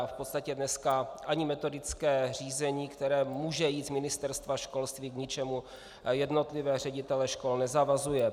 A v podstatě dneska ani metodické řízení, které může jít z Ministerstva školství, k ničemu jednotlivé ředitele škol nezavazuje.